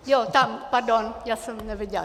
Jo, tam, pardon, já jsem neviděla.